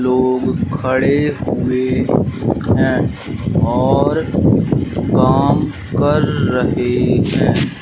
लोग खड़े हुए हैं और काम कर रहे हैं।